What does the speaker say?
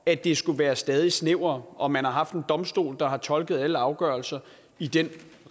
at det skulle være stadig snævrere og man har haft en domstol der har tolket alle afgørelser i den